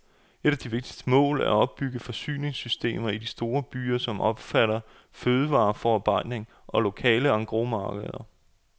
Et af de vigtigste mål er at opbygge forsyningssystemer i de store byer, som omfatter fødevareforarbejdning og lokale engrosmarkeder.